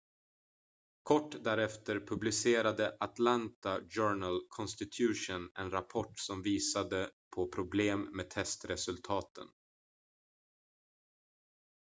kort därefter publicerade atlanta journal-constitution en rapport som visade på problem med testresultaten